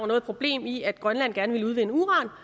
noget problem i at grønland gerne ville udvinde uran